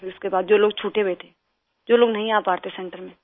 सिर फिर उसके बाद छूटे हुए थे जो लोग नहीं आ पाते सेंटर में